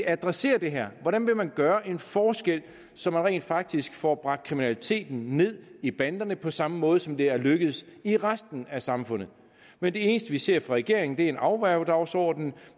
adressere det her hvordan vil man gøre en forskel så man rent faktisk får bragt kriminaliteten ned i banderne på samme måde som det er lykkedes i resten af samfundet men det eneste vi ser fra regeringens en afværgedagsordenen